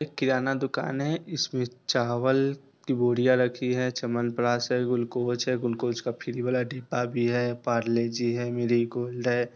एक किराना दुकान है। इसमें चावल की बोरियाँ रखी है च्यवनप्राश है ग्लूकोस है ग्लूकोस का फ्री वाला डिब्बा भी है पार्ले जी है मैरिगोल्ड है।